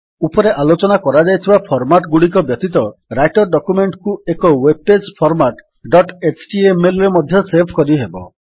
ଉପରେ ଆଲୋଚନା କରାଯାଇଥିବା ଫର୍ମାଟ୍ ଗୁଡ଼ିକ ବ୍ୟତୀତ ରାଇଟର୍ ଡକ୍ୟୁମେଣ୍ଟ୍ କୁ ଏକ ୱେବ୍ ପେଜ୍ ଫର୍ମାଟ୍ ଡଟ୍ htmlରେ ମଧ୍ୟ ସେଭ୍ କରିହେବ